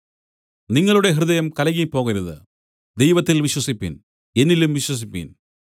നിങ്ങളുടെ ഹൃദയം കലങ്ങിപ്പോകരുത് ദൈവത്തിൽ വിശ്വസിപ്പിൻ എന്നിലും വിശ്വസിപ്പിൻ